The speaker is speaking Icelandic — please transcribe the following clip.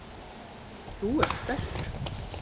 Þú ert stæltur.